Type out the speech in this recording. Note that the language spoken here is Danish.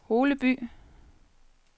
Holeby